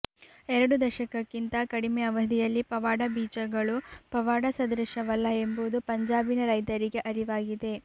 ಎರಡು ದಶಕಕ್ಕಿಂತ ಕಡಿಮೆ ಅವಧಿಯಲ್ಲಿ ಪವಾಡ ಬೀಜಗಳು ಪವಾಡ ಸದೃಶವಲ್ಲ ಎಂಬುದು ಪಂಜಾಬಿನ ರೈತರಿಗೆ ಅರಿವಾಗಿದೆ